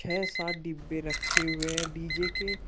व सात डिब्बे रखे हुए हैं डी_जे के।